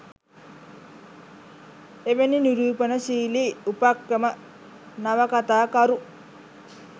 එවැනි නිරූපණශීලී උපක්‍රම නවකතාකරු